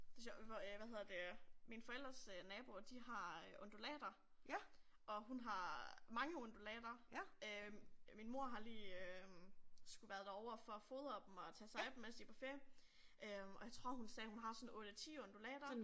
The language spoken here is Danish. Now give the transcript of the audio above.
Det er sjovt øh hvad hedder det mine forældres øh naboer de har undulater og hun har mange undulater øh min mor har lige øh skulle være derover for at fodre dem og tage sig af dem mens de er på ferie og jeg tror hun sagde hun har sådan 8 10 undulater